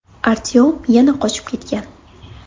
Artyom yana qochib ketgan.